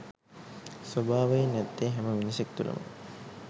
ස්වභාවයෙන් ඇත්තේ හැම මිනිසෙක් තුලම